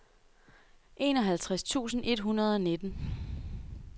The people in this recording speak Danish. enoghalvtreds tusind et hundrede og nitten